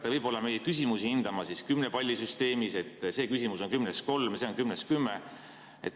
Kas te hakkate meie küsimusi hindama kümnepallisüsteemis, et see küsimus saab kümnest kolm palli või see kümnest kümme?